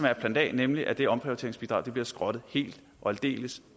er plan a nemlig at det omprioriteringsbidrag bliver skrottet helt og aldeles